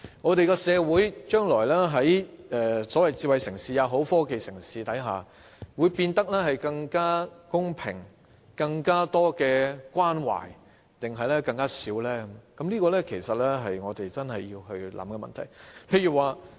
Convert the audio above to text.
我們的社會將來無論成為所謂的智慧城市或科技城市，將會變得更公平，有更多關懷，還是反之，其實是我們真正要考慮的問題。